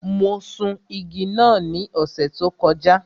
Mo sun igi náà ní ọ̀sẹ̀ tó kọjá.